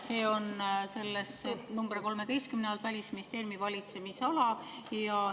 See on tabelis nr 13 "Välisministeeriumi valitsemisala".